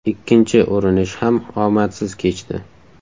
Ikkinchi urinish ham omadsiz kechdi.